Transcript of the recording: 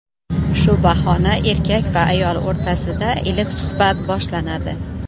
Shu bahona erkak va ayol o‘rtasida iliq suhbat boshlanadi.